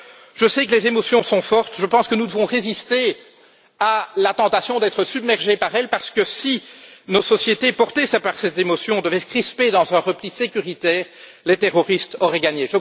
Je sais que les émotions sont fortes, je pense que nous devons résister à la tentation d'être submergés par elles, parce que si nos sociétés portées par ces émotions devaient se crisper dans un repli sécuritaire, les terroristes auraient gagné!